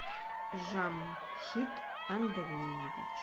жамшид андреевич